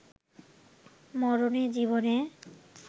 মরণে-জীবনে